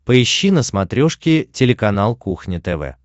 поищи на смотрешке телеканал кухня тв